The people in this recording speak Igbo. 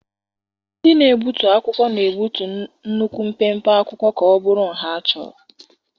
Ndị na-egbutu akwụkwọ na-egbutu nnukwu mpempe akwụkwọ ka ọ bụrụ nha achọrọ.